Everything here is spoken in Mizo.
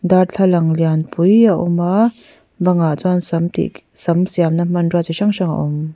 darthlalang lianpui a awm a bangah chuan sam tih sam siamna hmanrua chi hrang hrang a awm.